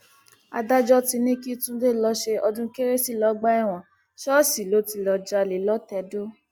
adájọ ti ní kí túnde lọọ ṣe ọdún kérésì lọgbà ẹwọn ṣọọṣì ló ti lọọ jalè lọtẹdọ